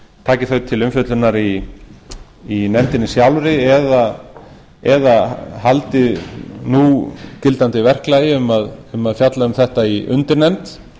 taki þau til umfjöllunar í nefndinni sjálfri eða haldi núgildandi verklagi um að fjalla um þetta í undirnefnd